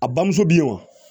A bamuso bɛ yen wa